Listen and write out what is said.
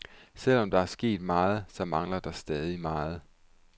Selvom der er sket meget, så mangler der stadig meget.